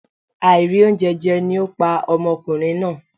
Àìrí oúnjẹ jẹ ni ó pa ọmọkùnrin náà